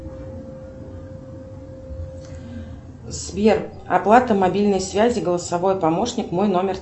сбер оплата мобильной связи голосовой помощник мой номер